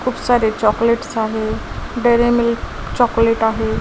खूप सारे चॉकलेट्स आहे डेअरी मिल्क चॉकलेट आहे.